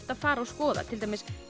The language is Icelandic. að fara og skoða til dæmis